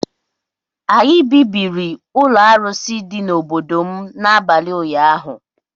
Anyị bibiri ụlọ arụsị dị n’obodo m n’abalị ụnyaahụ